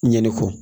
Ɲɛnɛ kɔ